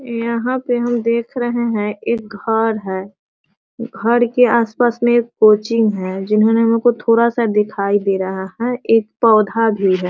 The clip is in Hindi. यहाँ पे हम देख रहे हैं एक घर है घर के आस-पास में एक कोचीन है जिनहोने हम को थोडा-सा दिखाई दे रहा है एक पौधा भी है।